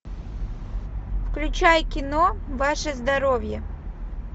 включай кино ваше здоровье